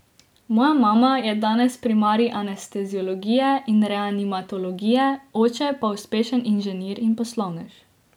Moja mama je danes primarij anesteziologije in reanimatologije, oče pa uspešen inženir in poslovnež.